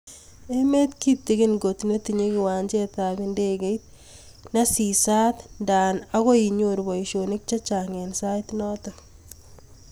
Emeet kitigin koot netinye kiwanjeet ap ndekeit nesisaat ngaa akoi inyoruu paisionik chechang eng sait notok